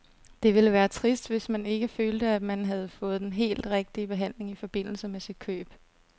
Det ville være trist, hvis man ikke følte, at man havde fået den helt rigtige behandling i forbindelse med sit køb.